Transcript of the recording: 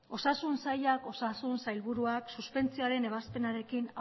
osasun saiak osasun sailburuak suspentsioaren ebazpenarekin